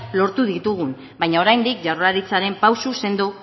lortu ditugu baina oraindik jaurlaritzaren pauso sendo